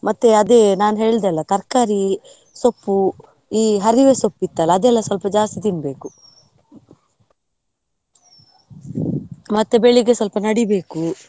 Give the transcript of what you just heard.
ಮತ್ತೆ ಅದೇ ನಾನ್ ಹೇಳ್ದೆ ಅಲ್ಲ ತರ್ಕಾರಿ, ಸೊಪ್ಪು, ಈ ಹರಿವೆ ಸೊಪ್ಪು ಇತ್ತಲ್ಲ ಅದೆಲ್ಲ ಸ್ವಲ್ಪ ಜಾಸ್ತಿ ತಿನ್ಬೇಕು ಮತ್ತೆ ಬೆಳಿಗ್ಗೆ ಸ್ವಲ್ಪ ನಡಿಬೇಕು,.